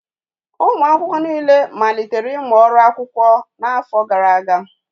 Ụmụ akwụkwọ niile malitere ịmụ ọrụ akwụkwọ n'afọ gara aga